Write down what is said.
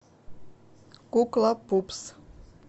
кукла пупс